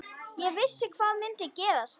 Ég vissi hvað myndi gerast.